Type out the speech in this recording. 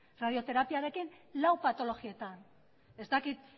radioterapiarekin lau patologietan ez dakit